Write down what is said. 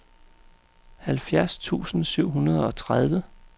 halvfjerds tusind syv hundrede og tredive